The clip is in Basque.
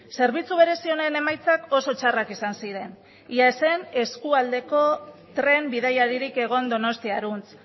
zerbitzu berezi honen emaitzak oso txarrak izan ziren ia ez zen eskualdeko tren bidaiaririk egon donostiarantz